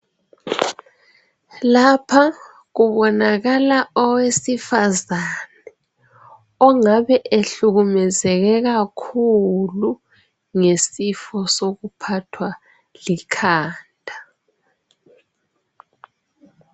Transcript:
lapha kuboanakala owesifazana ongabe ehlukumezeke kakhulu ngesifo sokuphathwa likhanda